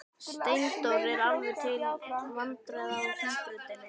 Steindór er alveg til vandræða á Hringbrautinni.